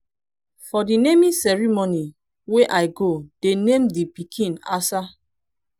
for the naming ceremony wey i go dey name the pikin asa